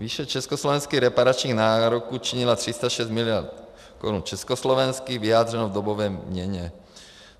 Výše československých reparačních nároků činila 306 miliard korun československých, vyjádřeno v dobové měně.